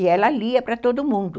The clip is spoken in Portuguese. E ela lia para todo mundo.